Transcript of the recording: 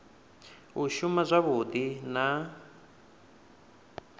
u shuma zwavhui na u